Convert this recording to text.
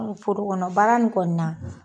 Forokɔnɔ baara in kɔni na.